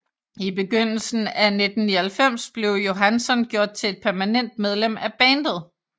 I begyndelsen af 1999 blev Johansson gjort til et permanent medlem af bandet